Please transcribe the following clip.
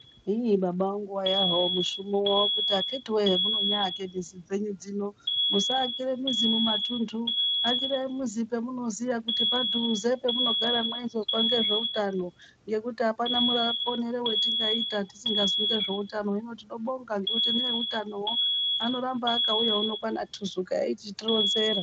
Iiih baba angu waivawo mushumo wavo kuti vakiti wee hemuno nyaake mizi dzenyu dzino, musaakire mizi mumatundu, akirai muzi pemunoziyaa kuti padhuzee pemunogara meizopangira zveutano, ngekuti hapana muponere watingaita tisingazwi nezveutano. Hino tinobonga ngekuti neveutanovo vanoramba vakauya wuno kwanaTuzuka vachitironzeraa.